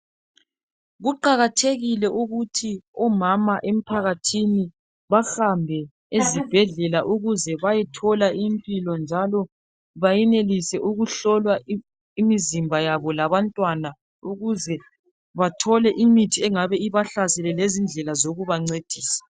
Kuqakatjekile ukuthi umama ephakathini bahambe esibhedlela ukuze bayothola impilo njalo bayenilise ukuhlolwa imizimba yabo labantwana ukuze bathole imithi yemikhuhlane engabe ibahlasele lezindlela zokubancedisa.